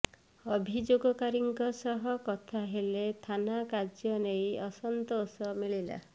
ଅଭିଯୋଗକାରୀଙ୍କ ସହ କଥା ହେଲେ ଥାନା କାର୍ଯ୍ୟ ନେଇ ଅସନ୍ତୋଷ ମିଳିଲା